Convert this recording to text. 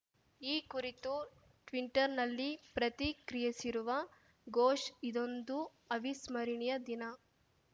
ಈ ಕುರಿತು ಟ್ವೀಟಂರ್‌ನಲ್ಲಿ ಪ್ರತಿಕ್ರಿಯಿಸಿರುವ ಘೋಷ್‌ ಇದೊಂದು ಅವಿಸ್ಮರಣೀಯ ದಿನ